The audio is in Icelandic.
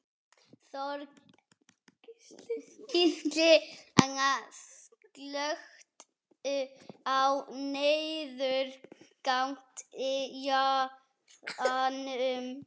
Þorgísl, slökktu á niðurteljaranum.